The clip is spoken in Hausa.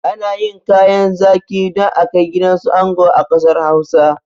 Ana yin kayan zaƙi don akai gidansu ango a ƙasar hausa